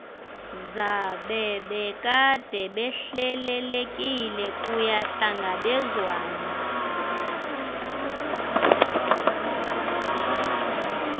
zabebekade behlelelekile kuyahlangabezwana